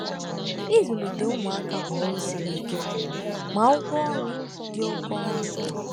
Ịzụlite ụmụaka bụ ọrụ siri ike, ma ụgwọ ọrụ dị oke ọnụ